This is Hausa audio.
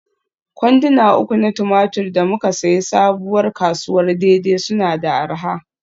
Kwanduna uku na tumatir da muka sayi Sabuwar kasuwar Dei-Dei suna da arha.